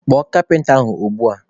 Kpọọ kapịnta ahụ ugbua!